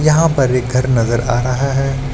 यहां पर एक घर नजर आ रहा है।